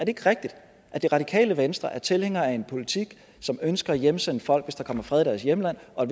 ikke rigtigt at det radikale venstre er tilhængere af en politik som ønsker at hjemsende folk hvis der kommer fred i deres hjemland og